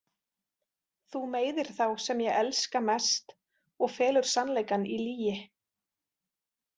Þú meiðir þá sem ég elska mest og felur sannleikann í lygi.